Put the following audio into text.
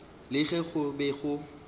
le ge go be go